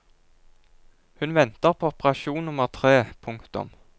Hun venter på operasjon nummer tre. punktum